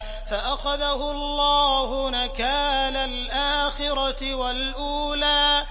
فَأَخَذَهُ اللَّهُ نَكَالَ الْآخِرَةِ وَالْأُولَىٰ